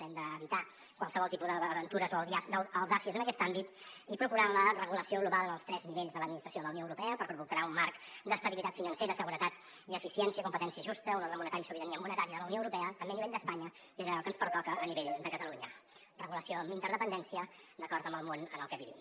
hem d’evitar qualsevol tipus d’aventures o audàcies en aquest àmbit i procurar la regulació global en els tres nivells de l’administració de la unió europea per provocar un marc d’estabilitat financera seguretat i eficiència competència justa un ordre monetari sobirania monetària de la unió europea també a nivell d’espanya i en allò que ens pertoca a nivell de catalunya regulació amb interdependència d’acord amb el món en el que vivim